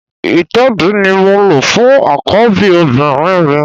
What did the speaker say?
Ìtẹ́ẹ̀dí ni mo lò fún àkọ́bí obìnrin mi